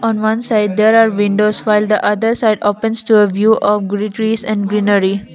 on one side there are windows file the other side opens to a view of greenery.